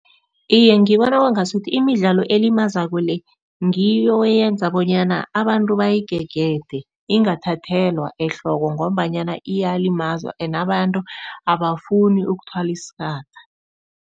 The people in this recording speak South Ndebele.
Iye ngibona kwangasuthi imidlalo elimazako le ngiyo eyenza bonyana abantu bayigegede ingathathelwa ehloko ngombanyana iyalimaza ene abantu abafuni ukuthwala isaka.